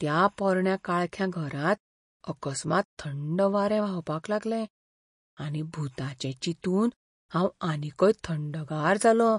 त्या पोरण्या काळख्या घरांत अकस्मात थंड वारें व्हांवपाक लागलें आनी भुतांचें चिंतून हांव आनीकय थंडगार जालों.